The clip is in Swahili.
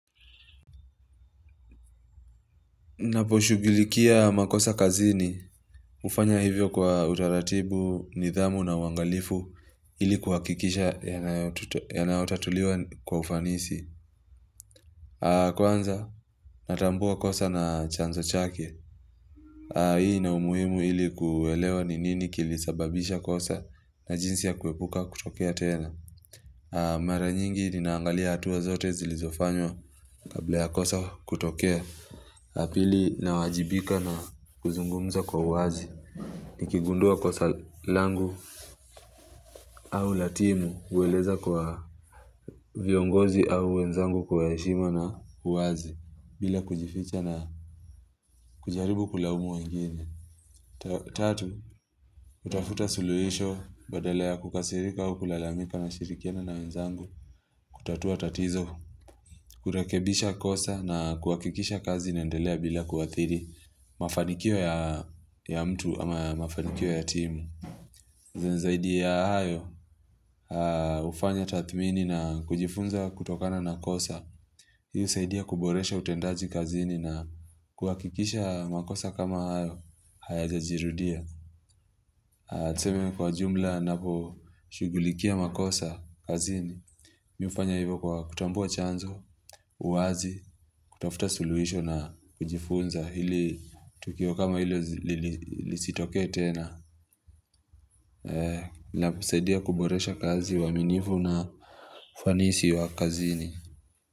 Ninaposhughulikia makosa kazini hufanya hivyo kwa utaratibu, nidhamu na uangalifu ili kuhakikisha yanayotatuliwa kwa ufanisi Kwanza natambua kosa na chanzo chake Hii ina umuhimu ili kuelewa ni nini kilisababisha kosa na jinsi ya kuepuka kutokea tena Mara nyingi ninaangalia hatua zote zilizofanywa kabla ya kosa kutokea la pili nawajibika na kuzungumza kwa uwazi Nikigundua kosa langu au la timu hueleza kwa viongozi au wenzangu kwa heshima na uwazi bila kujificha na kujaribu kulaumu wengine Tatu, hutafuta suluhisho badala ya kukasirika au kulalamika nashirikiana na wenzangu kutatua tatizo, kurekebisha kosa na kuhakikisha kazi inaendelea bila kuathiri mafanikio ya mtu ama mafanikio ya timu zaidi ya hayo hufanya tathmini na kujifunza kutokana na kosa hii husaidai kuboresha utendaji kazini na kuhakikisha makosa kama hayo hayajajirudia tuseme kwa jumla ninaposhugulikia makosa kazini, mimi hufanya hivyo kwa kutambua chanzo, uwazi kutafuta suluhisho na kujifunza ili Tukio kama hilo lisitoke tena Nasadia kuboresha kazi uaminifu na ufanisi wa kazini.